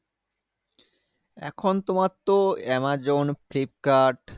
এখন তোমার তো আমাজন, ফ্লিপকার্ড